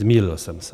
Zmýlil jsem se.